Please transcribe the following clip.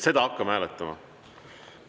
Seda hakkame hääletama.